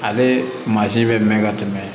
Ale mansin bɛ mɛn ka tɛmɛ